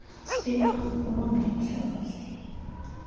speedo kulungile mhlekazi